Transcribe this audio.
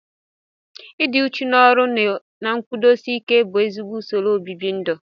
Ịdị uchu n'ọrụ na nkwụdosi ike bụ ezigbo usoro obibindu